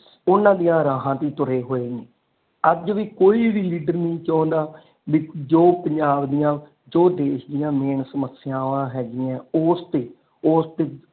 ਓਨਾ ਦੀਆ ਰਾਹਾਂ ਤੇ ਤੁਰੇ ਹੋਏ ਨੇ ਅੱਜ ਵੀ ਕੋਈ ਵੀ ਲੀਡਰ ਨਹੀਂ ਚਾਹੁੰਦਾ ਵੀ ਜੋ ਪੰਜਾਬ ਦੀਆ ਜੋ ਦੇਸ਼ ਦੀਆ ਮੇਨ ਸਮੱਸਿਆਵਾ ਹੈਗੀਆਂ ਨੇ ਓਸਤੇ ਓਸਤੇ,